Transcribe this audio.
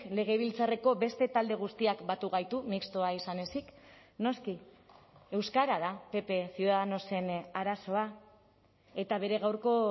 legebiltzarreko beste talde guztiak batu gaitu mistoa izan ezik noski euskara da pp ciudadanosen arazoa eta bere gaurko